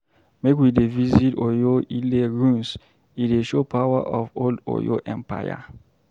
Make we dey visit Oyo-Ile ruins, e dey show power of old Oyo Empire.